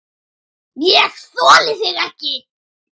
ÉG ÞOLI ÞIG EKKI!